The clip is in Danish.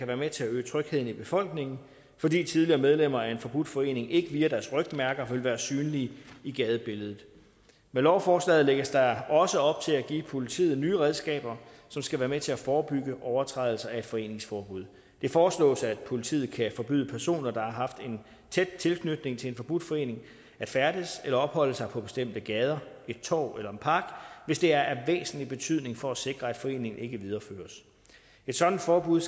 være med til at øge trygheden i befolkningen fordi tidligere medlemmer af en forbudt forening ikke via deres rygmærker vil være synlige i gadebilledet med lovforslaget lægges der også op til at give politiet nye redskaber som skal være med til at forebygge overtrædelser af et foreningsforbud det foreslås at politiet kan forbyde personer der har haft en tæt tilknytning til en forbudt forening at færdes eller opholde sig på bestemte gader et torv eller en park hvis det er af væsentlig betydning for at sikre at foreningen ikke videreføres et sådant forbud